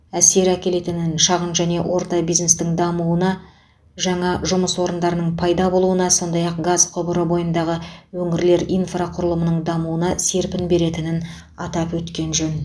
әсер әкелетінін шағын және орта бизнестің дамуына жаңа жұмыс орындарының пайда болуына сондай ақ газ құбыры бойындағы өңірлер инфрақұрылымының дамуына серпін беретінін атап өткен жөн